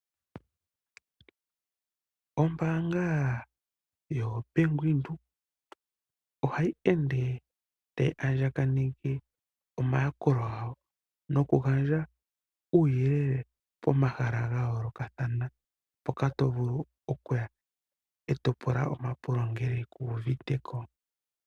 Ombaanga yo Bank Windhoek ohayi ende tayi andjane ke omayakulo gawo noku gandja omauyelele pomahala ga yoolokathana mpoka to vulu okuya eto pula omapulo ngele ku uvite ko.